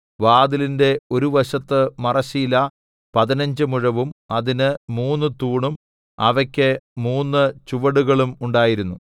വാതിലിന്റെ ഒരു വശത്ത് മറശ്ശീല പതിനഞ്ച് മുഴവും അതിന് മൂന്ന് തൂണും അവയ്ക്ക് മൂന്ന് ചുവടുകളും ഉണ്ടായിരുന്നു